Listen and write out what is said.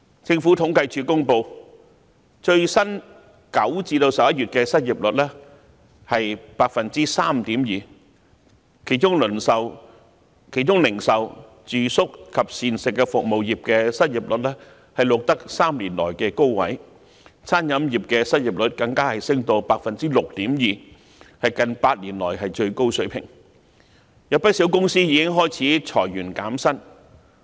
政府統計處公布9月至11月的最新失業率為 3.2%， 其中零售、住宿及膳食服務業的失業率錄得3年來的高位，餐飲業的失業率更升至 6.2%， 為近8年來的最高水平，有不少公司已開始裁員減薪。